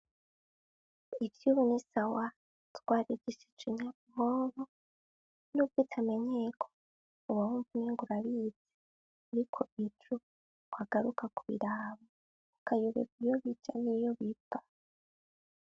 Ivyo, ubu nisawa twarigisicunyamoho n'ubwoitamenyeko ubawumvu ningurabizi, ariko petro oagaruka ku birabo ukayubeka iyo bija n'iyo bipa.